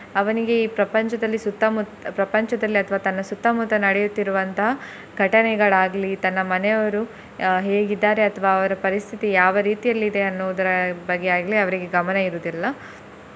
ಅವನಿಗೆ ಈ ಪ್ರಪಂಚದಲ್ಲಿ ಸುತ್ತ ಮುತ್~ ಪ್ರಪಂಚದಲ್ಲಿ ಅಥವಾ ತನ್ನ ಸುತ್ತ ಮುತ್ತ ನಡಿಯುತ್ತಿರುವಂತಹ ಘಟನೆಗಳಾಗ್ಲಿ ತನ್ನ ಮನೆಯವರು ಅಹ್ ಹೇಗೆ ಇದ್ದಾರೆ ಅಥ್ವ ಅವರ ಪರಿಸ್ತಿತಿ ಯಾವ ರೀತಿಯಲ್ಲಿ ಇದೆ ಅನ್ನುವುದರ ಬಗ್ಗೆ ಆಗ್ಲಿ ಅವರಿಗೆ ಗಮನ ಇರುವುದಿಲ್ಲ.